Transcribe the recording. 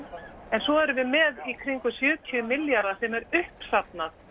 en svo erum við með í kringum sjötíu milljarða sem er uppsafnað